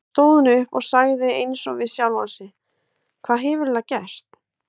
Svo stóð hún upp og sagði eins og við sjálfa sig: Hvað hefur eiginlega gerst?